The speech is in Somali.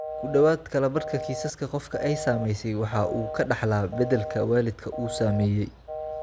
Ku dhawaad ​​kala badh kiisaska, qofka ay saamaysay waxa uu ka dhaxlaa beddelka waalidka uu saameeyey.